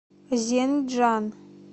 зенджан